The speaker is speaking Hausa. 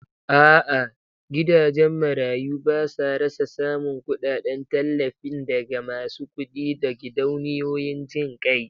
A'a, gidajen marayu basa rasa samun kudaden tallafin daga masu kudi da gidauniyoyin jin kai